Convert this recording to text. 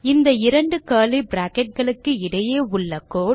இந்த இரண்டு curly bracket களுக்கு இடையே உள்ள கோடு